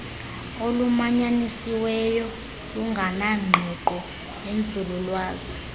olumanyanisiweyo lunganengqiqo yenzululwazi